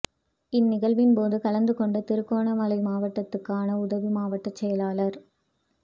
இந்நிகழ்வின் போது கலந்து கொண்ட திருகோணமலை மாவட்டத்துக்கான உதவி மாவட்ட செயலாளர்